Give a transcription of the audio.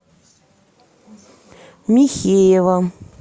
михеева